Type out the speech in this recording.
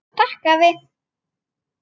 Takk, afi.